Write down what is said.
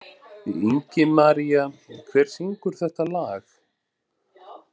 Ingimaría, hver syngur þetta lag?